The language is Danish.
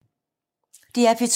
DR P2